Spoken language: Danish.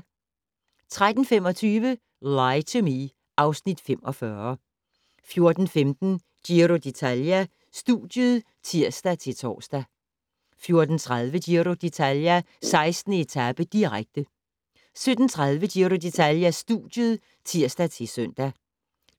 13:25: Lie to Me (Afs. 45) 14:15: Giro d'Italia: Studiet (tir-tor) 14:30: Giro d'Italia: 16. etape, direkte 17:30: Giro d'Italia: Studiet (tir-søn)